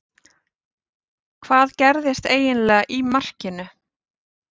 Hvað gerðist eiginlega í markinu?